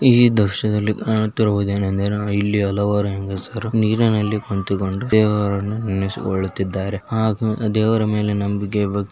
ಈ ದೃಶ್ಯದಲ್ಲಿ ಕಾಣುತ್ತಿರುವುದು ಏನೆಂದರೆ ಇಲ್ಲಿ ಹಲವಾರು ಹೆಂಗಸರು ನೀರಿನಲ್ಲಿ ಕುಳಿತುಕೊಂಡು ದೇವರನ್ನು ನೆನೆಸಿಕೊಳ್ಳುತ್ತಿದ್ದಾರೆ ಹಾಗೂ ದೇವರ ಮೇಲೆ ನಂಬಿಕೆ ಇರೋದಕ್ಕೆ--